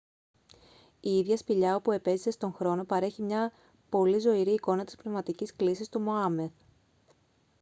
η ίδια η σπηλιά όπου επέζησε στον χρόνο παρέχει μια πολύ ζωηρή εικόνα της πνευματικής κλίσης του μωάμεθ